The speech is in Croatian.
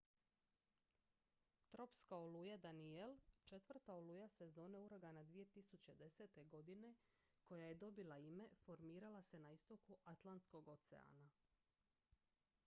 tropska oluja danielle četvrta oluja sezone uragana 2010. godine koja je dobila ime formirala se na istoku atlantskog oceana